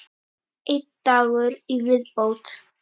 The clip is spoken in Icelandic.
Einn dagur í viðbót!